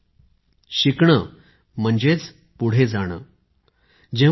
तुम्ही इंग्रजीत एक म्हण ऐकली असेल to learn is to grow अर्थात शिकणं म्हणजेच पुढे जाणे आहे